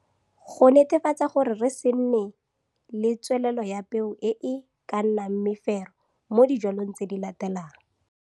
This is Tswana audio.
Go netefatsa gore re se nne le tswelelelo ya peo e e ka nnang mefero modijwalweng tse di latelang.